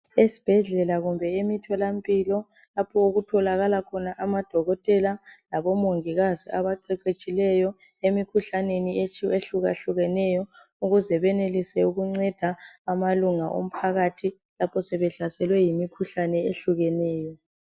Esibhedlela kumbe emitholampilo lapho okutholakala khona amadokotela labomongikazi ebaqheqhetshileyo emikhuhlaneni ehlukahlukeneyo ukuze benelise ukunceda amalunga omphakathi lapho sebehlaselwe yimkhuhlane ehlukeneyo.